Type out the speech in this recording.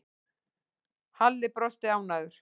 Halli brosti ánægður.